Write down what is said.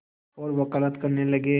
और वक़ालत करने लगे